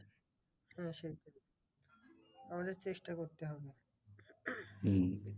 হ্যাঁ সেইটাই অনেক চেষ্টা করতে হবে।